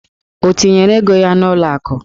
O tinyere ego ya n'ụlọ akụ?